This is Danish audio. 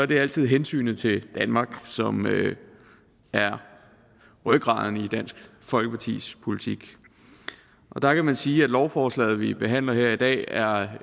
det er altid hensynet til danmark som er rygraden i dansk folkepartis politik der kan man sige at lovforslaget vi behandler her i dag er